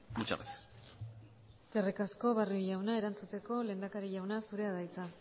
muchas gracias eskerrik asko barrio jauna erantzuteko lehendakari jauna zurea da hitza